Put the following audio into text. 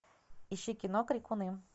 ищи кино крикуны